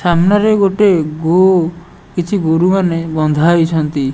ସାମ୍ନାରେ ଗୋଟେ ଗୋ କିଛି ଗୋରୁମାନେ ବନ୍ଧାହୋଇଛନ୍ତି।